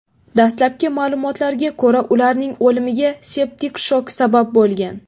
Dastlabki ma’lumotlarga ko‘ra, ularning o‘limiga septik shok sabab bo‘lgan.